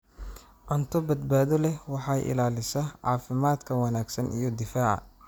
Cunto badbaado leh waxay ilaalisaa caafimaadka wanaagsan iyo difaaca.